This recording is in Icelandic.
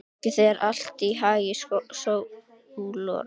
Gangi þér allt í haginn, Sólon.